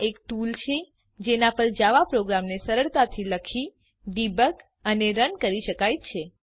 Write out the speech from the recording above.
આ એક ટુલ છે જેનાં પર જાવા પ્રોગ્રામને સરળતાથી લખી ડીબગ અને રન કરી શકાય છે